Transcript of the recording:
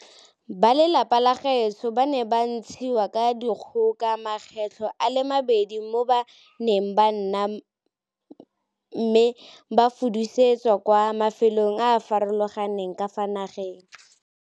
Ba lelapa la gaetsho ba ne ba ntshiwa ka dikgoka makgetlho a le mabedi mo ba neng ba nna me ba fudusetswa kwa mafelong a a farologaneng ka fa nageng.